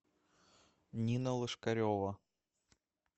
нина лошкарева